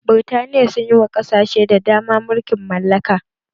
Birtaniya sun yi wa ƙasashe da dama mulkin mallaka